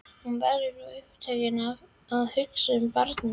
Hún verður svo upptekin af að hugsa um barnið.